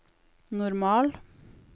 normal